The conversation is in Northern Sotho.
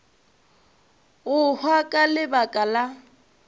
go hwa ka lebaka la